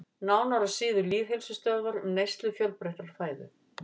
Nánar á síðu Lýðheilsustöðvar um neyslu fjölbreyttrar fæðu.